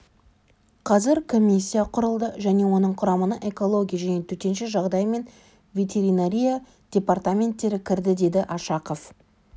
қазір комиссия құрылды және оның құрамына экология және төтенше жағдай мен ветеринария департаменттері кірді деді ашақов